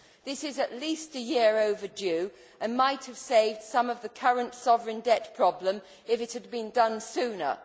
This is at least a year overdue and might have saved some of the current sovereign debt problem if it had been done sooner.